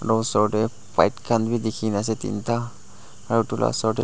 edu osor tae bike khan bi dikhina ase teenta aro edu la osor--